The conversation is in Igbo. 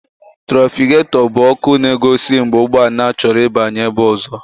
Túrafikato bụ ọkụ na-egosi mgbe ụgbọala chọrọ ịbanye ebe ọzọ.